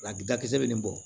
Abi dakisɛ bɛ nin bɔ